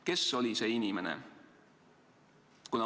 Kes oli see inimene?